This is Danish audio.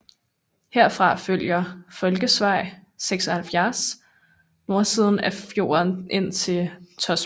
Herfra følger fylkesvej 76 nordsiden af fjorden ind til Tosbotn